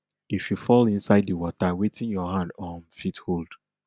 if you fall inside di water wetin your hand um fit hold